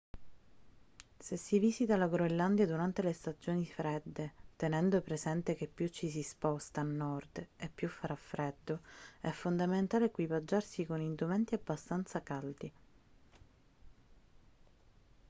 se si visita la groenlandia durante le stagioni fredde tenendo presente che più ci si sposta a nord e più farà freddo è fondamentale equipaggiarsi con indumenti abbastanza caldi